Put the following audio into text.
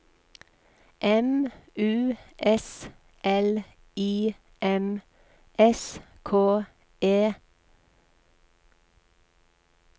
M U S L I M S K E